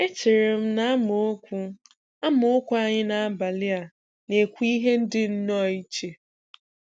Echere m na amaokwu amaokwu anyị n'abalị a na-ekwu ihe dị nnọọ iche.